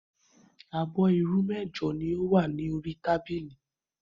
Abọ́ irú mẹ́jọ ni ó wà ní orí tábìlì.